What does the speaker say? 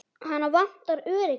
Hana vantar öryggi.